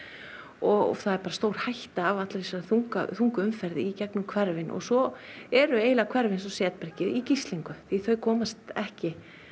og það er bara stórhætta af allri þessari þungu þungu umferð í gegnum hverfin og svo eru hverfi eins og í gíslingu því þau komast ekki